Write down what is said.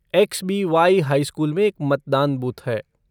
XBY. High school में एक मतदान बूथ है।